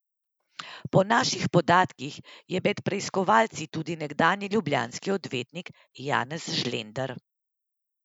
Po naših podatkih je med preiskovanci tudi nekdanji ljubljanski odvetnik Janez Žlender.